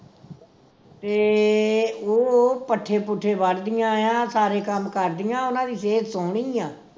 ਤੇ ਉਹ ਪੱਠੇ ਪੁੱਠੇ ਵੱਡਦੀਆਂ ਆ ਸਾਰੇ ਕੰਮ ਕਰਦੀਆਂ ਉਨ੍ਹਾਂ ਦੀ ਸਿਹਤ ਸੋਹਣੀ ਆ